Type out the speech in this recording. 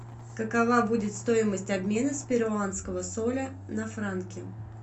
какова будет стоимость обмена перуанского соля на франки